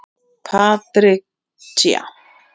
Patricia